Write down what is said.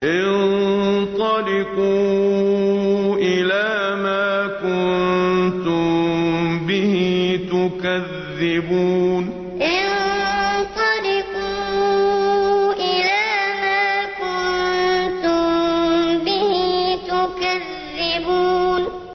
انطَلِقُوا إِلَىٰ مَا كُنتُم بِهِ تُكَذِّبُونَ انطَلِقُوا إِلَىٰ مَا كُنتُم بِهِ تُكَذِّبُونَ